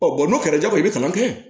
bɔn n'o kɛra jagoya i bɛ kalan kɛ